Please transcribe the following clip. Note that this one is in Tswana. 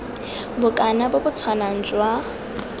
bokana bo bo tshwanang jwa